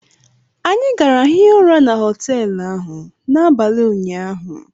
Anyị gara hie ụra na họteelụ ahụ n'abalị ụnyaahụ